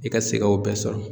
I ka se ka o bɛɛ sɔrɔ.